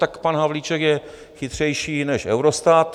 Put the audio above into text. Tak pan Havlíček je chytřejší než Eurostat.